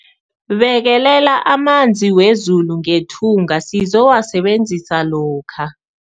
Bekelela amanzi wezulu ngethunga sizowasebenzisa lokha.